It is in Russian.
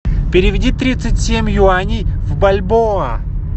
переведи тридцать семь юаней в бальбоа